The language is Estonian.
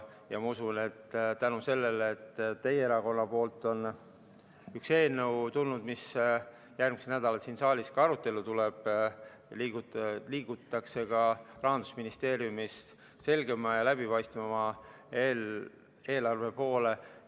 Ma usun, et tänu sellele, et teie erakonnalt on üks eelnõu tulnud, mis järgmisel nädalal siin saalis arutelule tuleb, liigutakse ka Rahandusministeeriumis selgema ja läbipaistvama eelarve poole.